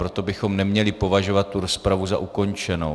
Proto bychom neměli považovat tu rozpravu za ukončenou.